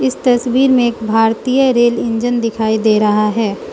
तस्वीर में एक भारतीय रेल इंजन दिखाई दे रहा है।